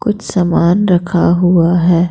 कुछ सामान रखा हुआ है।